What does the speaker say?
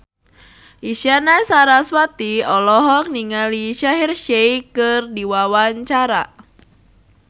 Isyana Sarasvati olohok ningali Shaheer Sheikh keur diwawancara